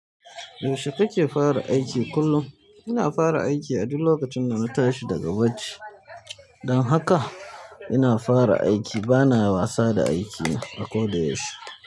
Yaushe kake fara aiki kullum? Ina fara aiki a duk lokacin da na tashi daga bacci. Don haka ina fara aiki bana wasa da aikina a koda yaushe.